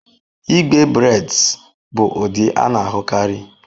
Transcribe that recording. Igbe braids bụ ụdị a na-ahụkarị.